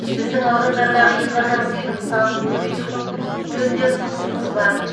біздің аудандардағы инва таксидің санын көбейту жөнінде ұсынысымыз бар